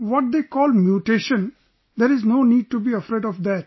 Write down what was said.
What they call Mutation there's no need to be afraid of that